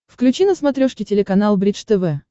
включи на смотрешке телеканал бридж тв